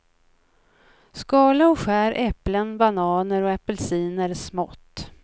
Skala och skär äpplen, bananer och apelsiner smått.